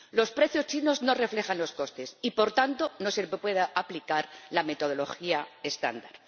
Los precios chinos no reflejan los costes y, por tanto, no se les puede aplicar la metodología estándar.